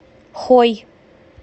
хой